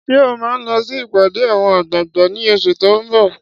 Ṣé ò máa lọ sí ìpàdé àwọn àgbààgbà ní oṣù tó n bọ̀?